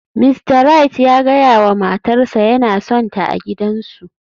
Mista Wright ya gaya wa matarsa ​​yana sonta a gidansu